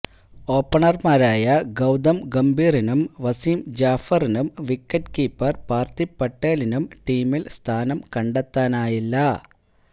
ഓപ്പണര്മാരായ ഗൌതം ഗംഭീറിനും വസിം ജാഫറിനും wicket keeper Parthiv പട്ടേലിനും ടീമില് സ്ഥാനം കണ്ടെത്താനായില്ല